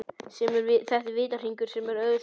Þetta er vítahringur sem auðvelt er að festast í.